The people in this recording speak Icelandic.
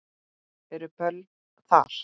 Eru böll þar?